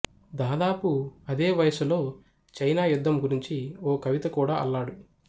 దాదాపు అదే వయసులో చైనా యుద్ధం గురించి ఓ కవిత కూడా అల్లాడు